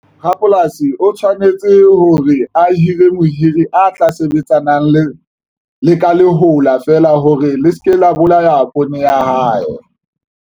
Rapolasi o tshwanetse hore a hire mohiri a tla sebetsanang le ka lehola feela hore le seke la bolaya poone ya hae.